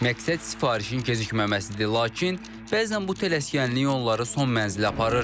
Məqsəd sifarişin gecikməməsidir, lakin bəzən bu tələskənlik onları son mənzilə aparır.